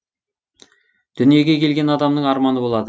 дүниеге келген адамның арманы болады